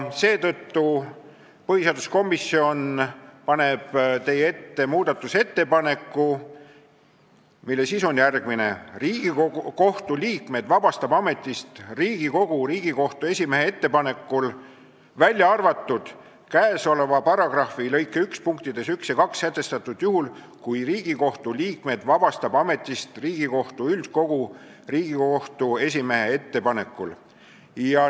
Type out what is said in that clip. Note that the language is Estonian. Seetõttu paneb põhiseaduskomisjon teie ette muudatusettepaneku, mille sisu on järgmine: "Riigikohtu liikmed vabastab ametist Riigikogu Riigikohtu esimehe ettepanekul, välja arvatud käesoleva paragrahvi lõike 1 punktides 1 ja 2 sätestatud juhul, mil Riigikohtu liikmed vabastab ametist Riigikohtu üldkogu Riigikohtu esimehe ettepanekul.